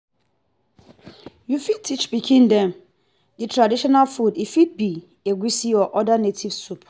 you fit teach pikin dem the traditional food e fit be egusi or oda native soup